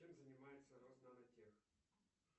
чем занимается роснанотех